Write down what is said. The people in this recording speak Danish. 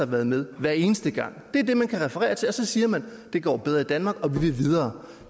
været med hver eneste gang det er det man kan referere til og så siger man det går bedre i danmark og vi vil videre